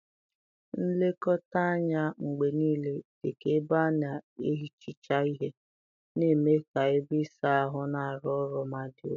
Nlekọta anya mgbe niile, dị ka ebe a na-ehicha ihe, na-eme ka ebe ịsa ahụ na-arụ ọrụ ma dị ụtọ.